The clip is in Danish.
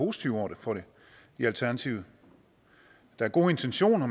positive over for det i alternativet der er gode intentioner